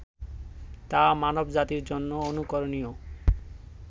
তা মানব জাতির জন্য অনুকরণীয়